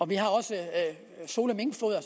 vi har også sole minkfoder